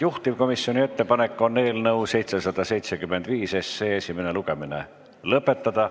Juhtivkomisjoni ettepanek on eelnõu 775 esimene lugemine lõpetada.